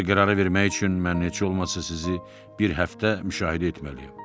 Belə bir qərarı vermək üçün mən heç olmasa sizi bir həftə müşahidə etməliyəm.